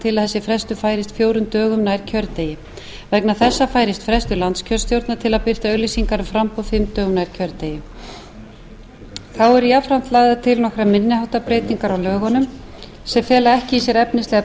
til að þessi frestur færist fjórum dögum nær kjördegi vegna þessa færist frestur landskjörstjórnar til að birta auglýsingar um framboð fimm dögum nær kjördegi þá eru jafnframt eru lagðar til nokkrar minni háttar breytingar á lögunum sem fela ekki í sér efnislegar